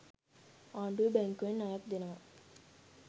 ආණ්ඩුවෙ බැංකුවෙන් ණයක් දෙනවා.